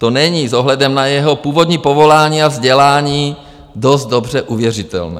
To není s ohledem na jeho původní povolání a vzdělání dost dobře uvěřitelné.